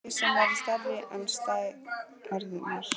Þig sem er stærri en stærðirnar.